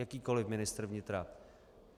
Jakýkoliv ministr vnitra.